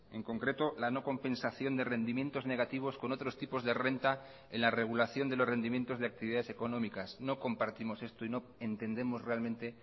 en concreto la no compensación de rendimientos negativos con otros tipos de renta en la regulación de los rendimientos de actividades económicas no compartimos esto y no entendemos realmente